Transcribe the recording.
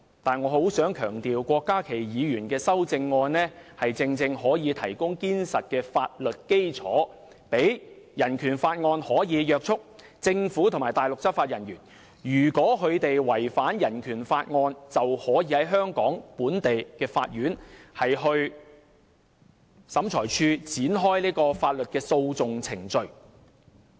但是，我很想強調，郭家麒議員的修正案正正可以提供堅實的法律基礎，讓《人權法案條例》可以約束政府和內地執法人員，如果他們違反《人權法案條例》，便可以在香港本地的法院或審裁處展開法律訴訟程序。